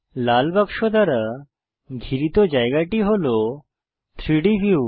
লাল বাক্স দ্বারা ঘিরিত জায়গাটি হল 3ডি ভিউ